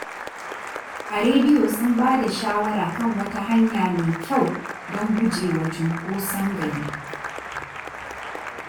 A rediyo sun bada shawara kan wata hanya mai kyau don guje wa cunkoson gari.